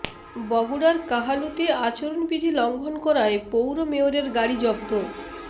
বগুড়ার কাহালুতে আচরণবিধি লঙ্ঘন করায় পৌর মেয়রের গাড়ি জব্দ